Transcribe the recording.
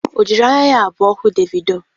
O jiri anya ya abụọ hụ Devido?